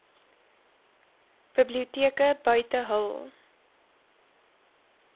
biblioteke buite hul